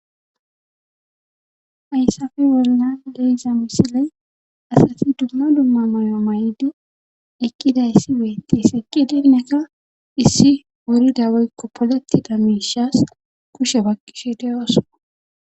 Haysappe bollan be'izaa misile asati dumma dumma mayo may7di ekkidayssi beetti seqqi dinnekka issi worida weykko poleti damiishas kushe bakqishe deyooso.